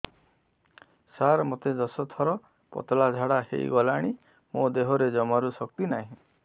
ସାର ମୋତେ ଦଶ ଥର ପତଳା ଝାଡା ହେଇଗଲାଣି ମୋ ଦେହରେ ଜମାରୁ ଶକ୍ତି ନାହିଁ